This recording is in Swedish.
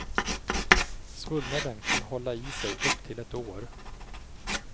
Svullnaden kan hålla i sig upp till ett år.